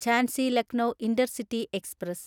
Jhansi Lucknow intercity express